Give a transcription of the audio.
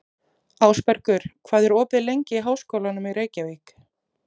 Ásbergur, hvað er opið lengi í Háskólanum í Reykjavík?